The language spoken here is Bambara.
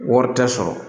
Wari tɛ sɔrɔ